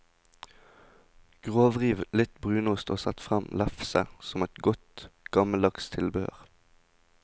Grovriv litt brunost og sett frem lefse, som er godt, gammeldags tilbehør.